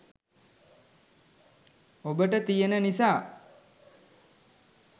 ඔබට තියන නිසා.